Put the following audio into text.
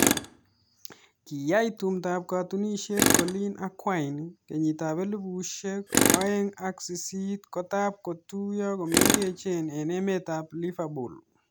Kiyai tumdo ab katunishet Coleen ak Wayne kenyit ab elibushek aeng ak sisit kotab kotuyo komengechen eng emet ab Liverpool.